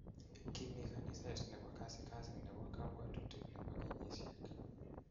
Kimi kaniset nebo kasikasi nebo kabwatutik nebo kenyisiek